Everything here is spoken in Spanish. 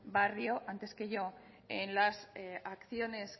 barrio antes que yo en las acciones